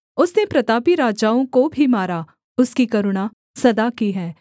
उसने प्रतापी राजाओं को भी मारा उसकी करुणा सदा की है